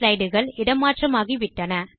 slide கள் இடமாற்றமாகி விட்டன